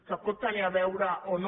que hi pot tenir a veure o no